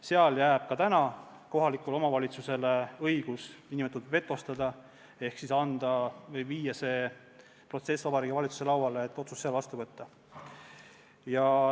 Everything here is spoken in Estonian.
Sel puhul jääb ka kohalikule omavalitsusele õigus see n-ö vetostada ehk viia see protsess Vabariigi Valitsuse lauale, et saaks otsuse seal vastu võtta.